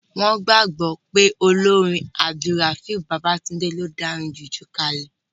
Wọ́n gbàgbọ́ pé olórin AbdulRafiu Babatunde ló dá orin jùjú kalẹ̀